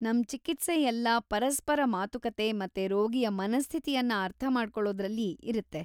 ನಮ್‌ ಚಿಕಿತ್ಸೆ ಎಲ್ಲಾ ಪರಸ್ಪರ ಮಾತುಕತೆ ಮತ್ತೆ ರೋಗಿಯ ಮನಸ್ಥಿತಿಯನ್ನ ಅರ್ಥಮಾಡ್ಕೊಳೋದ್ರಲ್ಲಿ ಇರುತ್ತೆ.